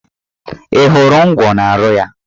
Ị hụrụ ngwọ n'ahụ ya!